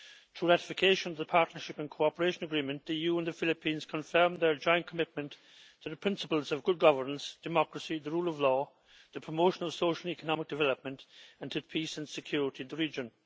Through ratification of the partnership and cooperation agreement, the EU and the Philippines confirmed their joint commitment to the principles of good governance, democracy, the rule of law, the promotion of social and economic development and to peace and security in the region.